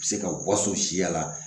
U bɛ se ka waso siya la